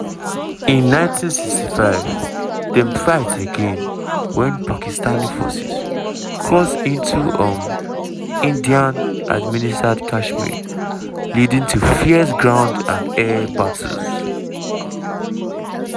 in 1965 dem fight again wen pakistani forces cross into um indian-administered kashmir leading to fierce ground and air battles.